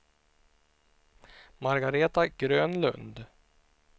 Margaretha Grönlund